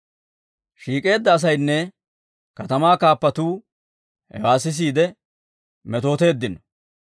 Shiik'eedda asaynne katamaa kaappatuu hewaa sisiide metooteeddino.